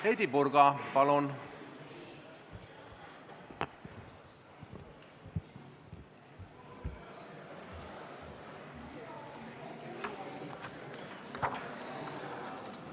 Heidy Purga, palun!